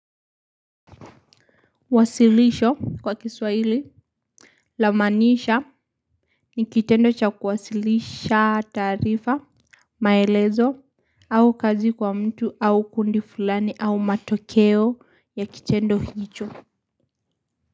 Wasilisho kwa kiswahili lamaanisha ni kitendo cha kuwasilisha taarifa maelezo au kazi kwa mtu au kundi fulani au matokeo ya kitendo hicho.